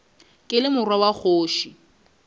ke le morwa wa kgoši